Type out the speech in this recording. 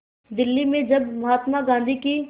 दिल्ली में जब महात्मा गांधी की